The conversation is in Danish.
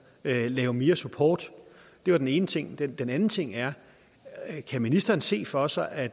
lave lave mere support det var den ene ting den den anden ting er kan ministeren se for sig at